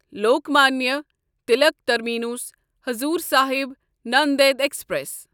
Lokmanya Tilak terminus Hazur Sahib Nanded express